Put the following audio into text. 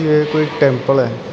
ਇਹ ਕੋਈ ਟੈਂਪਲ ਹੈ।